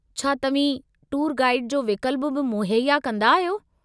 छा तव्हीं tour guide जो विक्ल्प बि मुहैया कंदा आहियो?